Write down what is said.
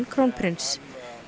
krónprins